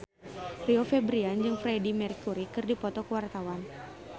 Rio Febrian jeung Freedie Mercury keur dipoto ku wartawan